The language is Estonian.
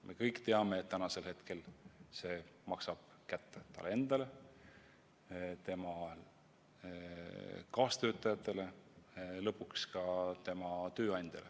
Me kõik teame, et tänasel hetkel see maksab kätte talle endale, tema kaastöötajatele ja lõpuks ka tema tööandjale.